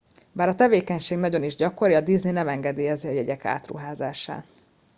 bár a tevékenység nagyon is gyakori a disney nem engedélyezi a jegyek átruházását